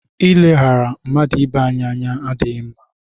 I ileghara mmadụ ibe anyị ànyị adịghị mma.